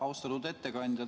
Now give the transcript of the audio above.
Austatud ettekandja!